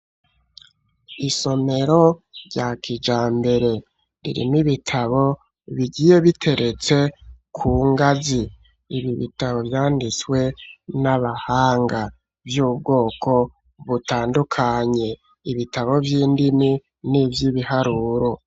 Isomero rya kijambere, ririmwo ibitabo bigiye biteretse ku ngazi, ibi bitabo vyanditswe n'abahanga vy'ubwoko butandukanye ibitabo vy'indimi n'ivyibiharuro.